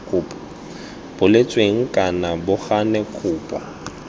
boletsweng kana bo gane kopo